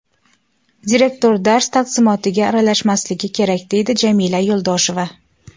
Direktor dars taqsimotiga aralashmasligi kerak”, deydi Jamila Yo‘ldosheva.